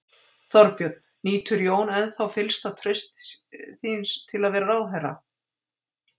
Þorbjörn: Nýtur Jón ennþá fyllsta trausts þín til að vera ráðherra?